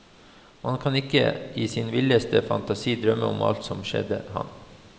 Man kan ikke i sin villeste fantasi drømme om alt som skjedde ham.